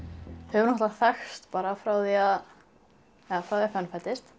höfum þekkst frá því að fönn fæddist